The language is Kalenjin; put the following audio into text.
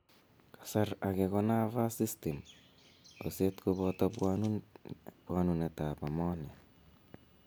Kasar age ko nervous system oset kopoto pwanunetap ammonia.